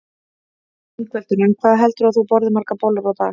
Ingveldur: En hvað heldurðu að þú borðir margar bollur í dag?